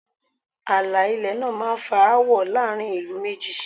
Ààlà ilẹ̀ náà máá ń fa áwọ̀ láàrin ìlú méjì